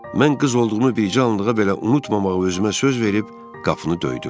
Mən qız olduğumu bircə anlığa belə unutmamağa özümə söz verib qapını döydüm.